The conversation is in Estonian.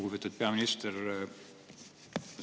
Lugupeetud peaminister!